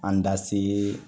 An da se